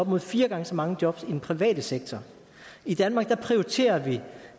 imod fire gange så mange jobs i den private sektor i danmark prioriterer vi